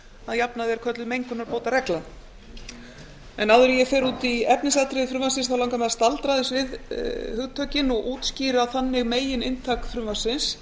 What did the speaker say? að jafnaði er kölluð mengunarbótaregla áður en ég fer út í efnisatriði frumvarpsins langar mig að staldra aðeins við hugtökin og útskýra þannig megininntak frumvarpsins